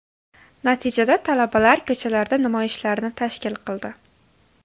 Natijada talabalar ko‘chalarda namoyishlarni tashkil qildi.